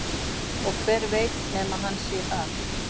Og hver veit nema hann sé það?